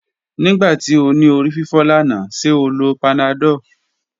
Nigbati o ni orififo lana, ṣe o lo panadol?